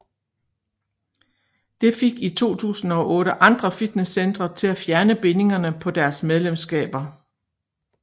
Det fik i 2008 andre fitnesscentre til at fjerne bindingerne på deres medlemskaber